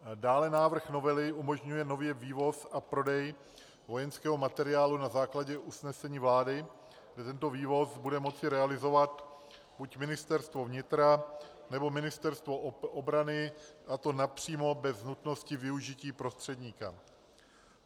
Dále návrh novely umožňuje nově vývoz a prodej vojenského materiálu na základě usnesení vlády, že tento vývoz bude moci realizovat buď Ministerstvo vnitra, nebo Ministerstvo obrany, a to napřímo, bez nutnosti využití prostředníka.